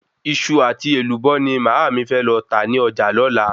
Iṣu àti Èlùbọ́ ni màámi fẹ lọ tà ní ọjà lọ́la